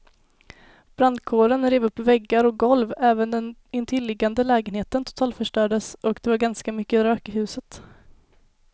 Brandkåren rev upp väggar och golv, även den intilliggande lägenheten totalförstördes och det var ganska mycket rök i huset.